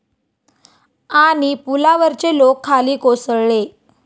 ...आणि पुलावरचे लोक खाली कोसळले